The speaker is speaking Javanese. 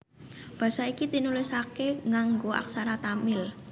Basa iki tinulisaké nganggo aksara Tamil